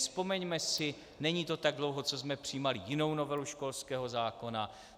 Vzpomeňme si, není to tak dlouho, co jsme přijímali jinou novelu školského zákona.